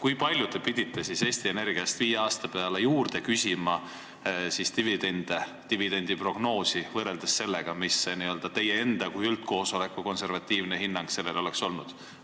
Kui palju te pidite Eesti Energiast viie aasta peale dividendiprognoosi juurde küsima, võrreldes sellega, mis teie enda kui üldkoosoleku konservatiivne hinnang sellele oleks olnud?